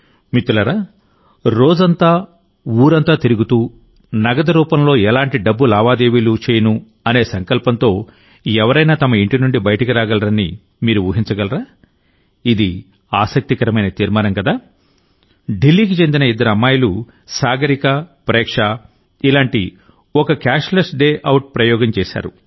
మిత్రులారారోజంతా ఊరంతా తిరుగుతూనగదు రూపంలో ఎలాంటి డబ్బు లావాదేవీలు చేయనుఅనే సంకల్పంతో ఎవరైనా తమ ఇంటి నుండి బయటకు రాగలరని మీరు ఊహించగలరా ఇది ఆసక్తికరమైన తీర్మానం కదా ఢిల్లీకి చెందిన ఇద్దరు అమ్మాయిలు సాగరిక ప్రేక్ష ఇలాంటి ఒక క్యాష్లెస్ డే అవుట్ ప్రయోగం చేశారు